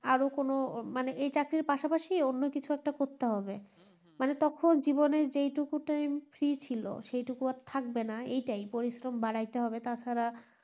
আরো কোনো মানে এই চাকরির পাশাপাশি অন্য কিছু করতে হবে মানে তখন জীবন এর যেই টুকু time free ছিল সেই টুকু আর থাকবেনা এটাই প্ররিশ্রম বাড়াইতে হইবে তাছাড়া